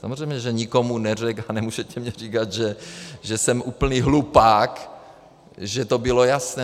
Samozřejmě že nikomu neřekl - a nemůžete mně říkat, že jsem úplný hlupák, že to bylo jasné.